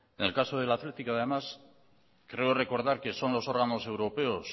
en el caso del athletic además creo recordar que son los órganos europeos